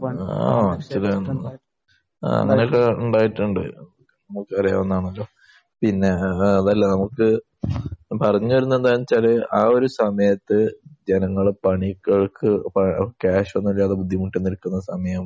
ആഹ്. . ആഹ്. അങ്ങനെയൊക്കെ ഉണ്ടായിട്ടുണ്ട്. നമുക്കറിയാവുന്ന. പിന്നെ ഏഹ് അതല്ല. നമുക്ക് പറഞ്ഞ് വരുന്നത് എന്താണെന്ന് വെച്ചാൽ ആ ഒരു സമയത്ത് ജനങ്ങൾ പണികൾക്ക് ക്യാഷ് ഒന്നും ഇല്ലാതെ ബുദ്ധിമുട്ടുന്ന ഒരു സമയം